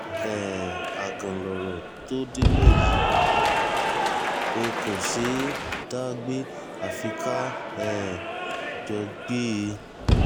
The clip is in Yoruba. um àgàn lọ̀rọ̀ tó délé yìí ò kò ṣeé dá gbé àfi ká um jọ gbé e